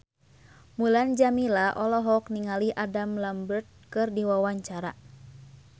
Mulan Jameela olohok ningali Adam Lambert keur diwawancara